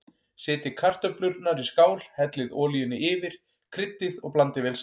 Setjið kartöflurnar í skál, hellið olíunni yfir, kryddið og blandið vel saman.